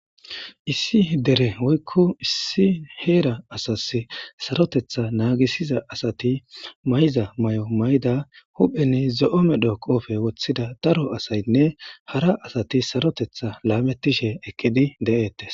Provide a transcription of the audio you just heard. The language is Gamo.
issi dere woykko issi heera asas sarotetha naagisiza asati mayza may7o mayda hupheni zo7o medho qoofe woththida daro asaynne hara asati sarotetha laamettishe ekkedi de7eettes